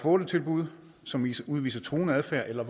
og otte tilbud og som udviser truende adfærd eller